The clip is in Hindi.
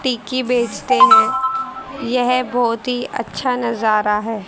टिक्की बेचते हैं यह बहोत ही अच्छा नजारा है।